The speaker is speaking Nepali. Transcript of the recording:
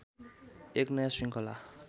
एक नयाँ श्रृङ्खला